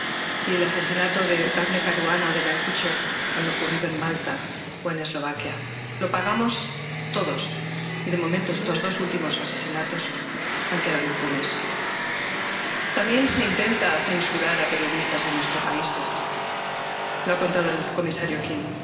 Y los asesinatos de Dafne Caruana o de Jan Kuciak han ocurrido en Malta o en Eslovaquia —lo pagamos todos— y, de momento, estos dos últimos asesinatos han quedado impunes. También se intenta censurar a periodistas en nuestros países —lo ha contado el comisario King—.